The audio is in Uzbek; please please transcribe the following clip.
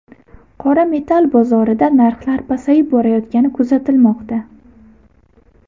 Qora metall bozorida narxlar pasayib borayotgani kuzatilmoqda.